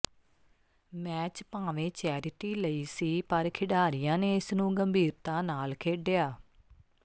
match ਭਾਵੇਂ charity ਲਈ ਸੀ ਪਰ ਖਿਡਾਰੀਆਂ ਨੇ ਇਸ ਨੂੰ ਗੰਭੀਰਤਾ ਨਾਲ ਖੇਡਿਆ